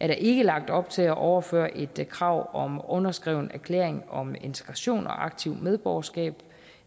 der ikke lagt op til at overføre et krav om underskreven erklæring om integration og aktivt medborgerskab